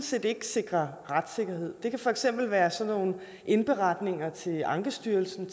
set ikke sikrer retssikkerhed det kan for eksempel være sådan nogle indberetninger til ankestyrelsen